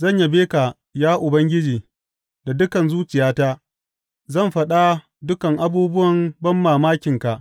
Zan yabe ka, ya Ubangiji, da dukan zuciyata; zan faɗa dukan abubuwan banmamakinka.